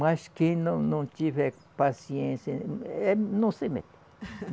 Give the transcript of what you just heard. Mas quem não não tiver paciência, é não se meta.